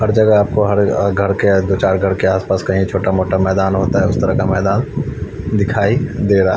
हर जगह आपको हर घर के दो चार घर के आस पास कही छोटा मोटा मैदान होता है उस तरह का मैदान दिखाई दे रहा।